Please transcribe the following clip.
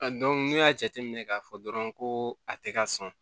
n'i y'a jateminɛ k'a fɔ dɔrɔn ko a tɛ ka sɔn